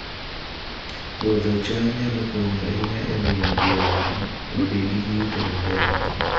Puodho cham nyalo konyo ahinya e miyo gweng' obed gi yuto maber